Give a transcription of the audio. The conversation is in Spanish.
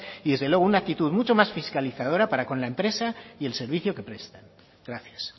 y desde luego una actitud mucho más fiscalizadora para con la empresa y el servicio que prestan gracias